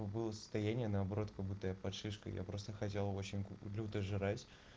было состояние наоборот как будто я под шишкой я просто хотел в общем купил жрать